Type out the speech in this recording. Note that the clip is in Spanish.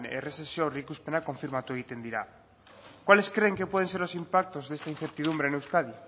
errezezio aurreikuspenak konfirmatu egiten dira cuáles creen que pueden ser los impactos de esta incertidumbre en euskadi